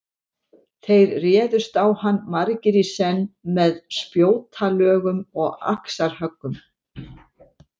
Þeir réðust á hann margir í senn með spjótalögum og axarhöggum.